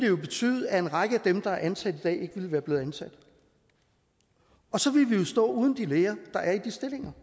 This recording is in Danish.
jo betyde at en række af dem der er ansat i dag ikke være blevet ansat og så ville vi jo stå uden de læger der er i de stillinger